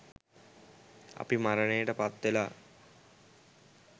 අපි මරණයට පත්වෙලා